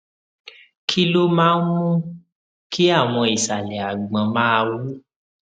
kí ló máa ń mú kí àwọn ìsàlẹ àgbọn máa wú